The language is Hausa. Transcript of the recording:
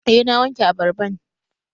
Eh na wanke abarban